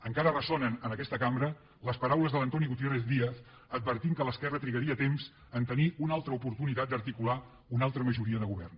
encara ressonen en aquesta cambra les paraules de l’antoni gutiérrez díaz advertint que l’esquerra trigaria temps a tenir una altra oportunitat d’articular una altra majoria de govern